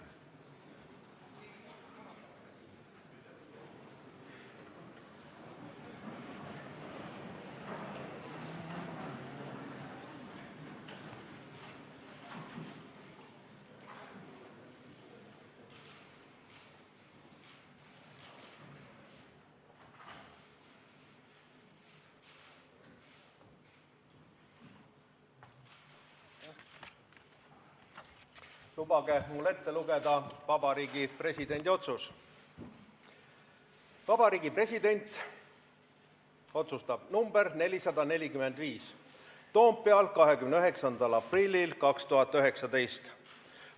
Lubage mul ette lugeda Vabariigi Presidendi otsus: "Vabariigi Presidendi otsus nr 445, Toompeal 29. aprillil 2019.